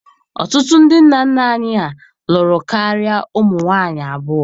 Ọtụtụ ndị nna nna anyị ha lụrụ karịa ụmụ nwaanyị abụọ.